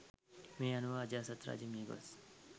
මේ අනුව අජාසත් රජ මියගොස්